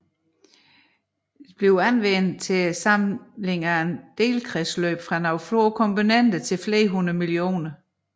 Anvendes til samling af delkredsløb fra nogle få komponenter til flere hundrede millioner